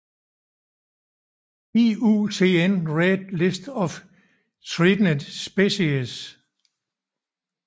IUCN Red List of Threatened Species